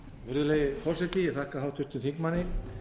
virðulegi forseti ég þakka háttvirtum þingmanni